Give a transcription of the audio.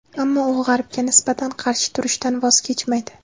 ammo u G‘arbga nisbatan qarshi turishdan voz kechmaydi.